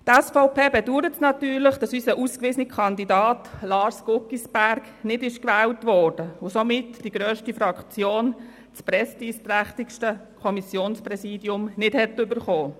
Die SVP bedauert natürlich, dass unser ausgewiesener Kandidat Lars Guggisberg nicht gewählt worden ist, und somit die grösste Fraktion das prestigeträchtigste Kommissionspräsidium nicht erhalten hat.